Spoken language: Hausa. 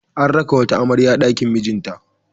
An raka wata amarya ɗakin mijinta.